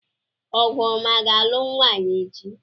Ọgụọma aga-alụ nwaanyị echi?